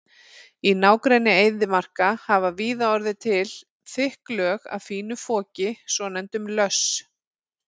Í nágrenni eyðimarka hafa víða orðið til þykk lög af fínu foki, svonefndum löss.